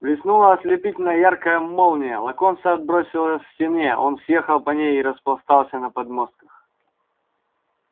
блеснула ослепительно яркая молния локонса отбросило стене он съехал по ней и распластался на подмостках